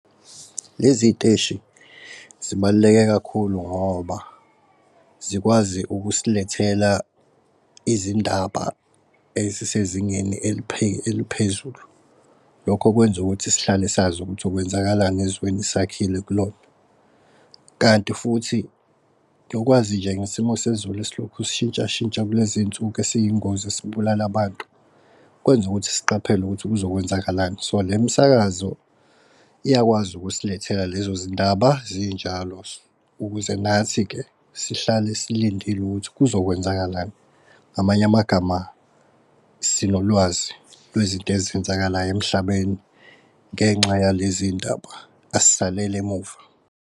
Lezi y'teshi zibaluleke kakhulu ngoba zikwazi ukusilethela izindaba ezisezingeni eliphezulu. Lokho kwenza ukuthi sihlale sazi ukuthi kwenzakalani ezweni sakhile kulona. Kanti futhi nokwazi nje ngesimo sezulu esiloku sishintshashintsha kulezinsuku esiyingozi esibulala abantu kwenza ukuthi siqaphele ukuthi kuzokwenzakalani. So le msakazo iyakwazi usilethela lezo zindaba zinjalo, ukuze nathi-ke sihlale silindile ukuthi kuzokwenzakalani. Ngamanye amagama sinolwazi lwezinto ezenzakalayo emhlabeni. Ngenxa yalezi ndaba as'saleli emuva.